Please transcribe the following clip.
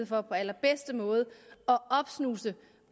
for på allerbedste måde at opsnuse